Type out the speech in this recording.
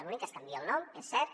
l’únic que es canvia el nom és cert